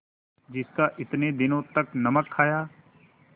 जिसका इतने दिनों तक नमक खाया